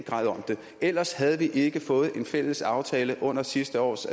ellers havde vi ikke fået en fælles aftale under sidste års